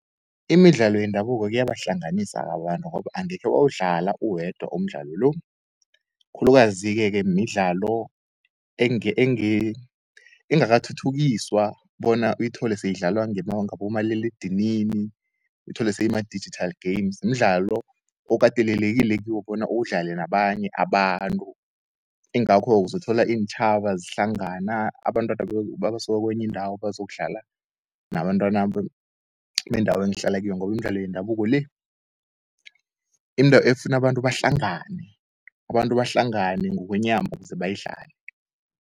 Imidlalo yendabuko kuyaba ihlanganisa abantu, ngoba angekhe wawudlala uwedwa umdlalo lo. Khulukazi-ke midlalo engakathuthukiswa bona uyithole seyidlalwa ngabomaliledinini, uthole seyima-digital games, mdlalo okatelelekile kiwo bona udlale nabanye abantu. Ingakho uzothola iintjhaba zihlangana abantwana abasuka kwenye indawo bazokudlala nabantwana bendawo engihlala kiyo, ngobi imidlalo yendabuko le, indawo efuna abantu bahlangane, abantu bahlangane ngokwenyama kuze bayidlale.